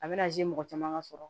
A bɛna mɔgɔ caman ka sɔrɔ